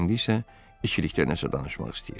İndi isə ikilikdə nəsə danışmaq istəyir.